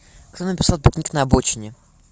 кто написал пикник на обочине